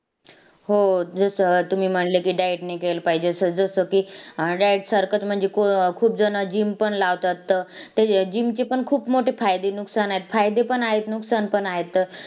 छोटीशी मुलगी मु~